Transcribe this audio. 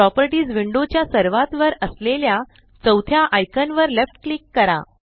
properties window च्या सर्वात वर असलेल्या चौथ्या आइकान वर लेफ्ट क्लिक करा